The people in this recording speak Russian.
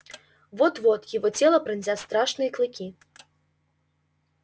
вот-вот его тело пронзят страшные клыки